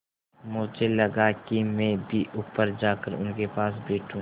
मुझे लगा कि मैं भी ऊपर जाकर उनके पास बैठूँ